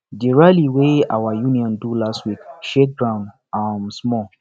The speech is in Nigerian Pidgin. the rally wey our union do last week shake ground um small